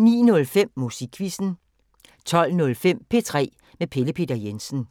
09:05: Musikquizzen 12:05: P3 med Pelle Peter Jensen